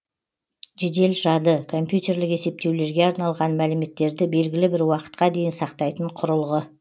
жедел жады компьютерлік есептеулерге арналған мәліметтерді белгілі бір уақытқа дейін сақтайтын құрылғы